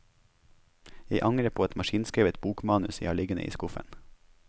Jeg angrer på et maskinskrevet bokmanus jeg har liggende i skuffen.